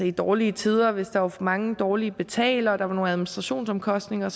i dårlige tider hvis der var for mange dårlige betalere og der var nogle administrationsomkostninger